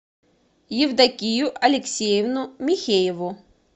евдокию алексеевну михееву